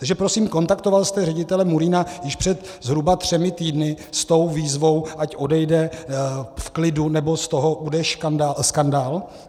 Takže prosím, kontaktoval jste ředitele Murína již před zhruba třemi týdny s tou výzvou, ať odejde v klidu, nebo z toho bude skandál?